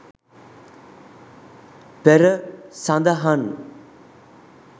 පෙර සදහන්